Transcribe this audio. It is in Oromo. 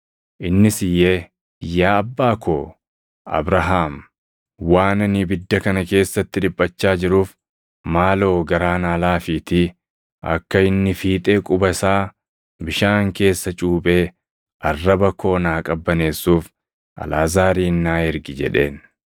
Innis iyyee, ‘Yaa Abbaa koo Abrahaam, waan ani ibidda kana keessatti dhiphachaa jiruuf maaloo garaa naa laafiitii akka inni fiixee quba isaa bishaan keessa cuuphee arraba koo naa qabbaneessuuf Alʼaazaarin naa ergi’ jedheen.